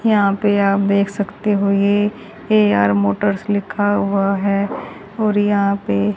यहां पे आप देख सकते हो ये ए_आर मोटर्स लिखा हुआ है और यहां पे--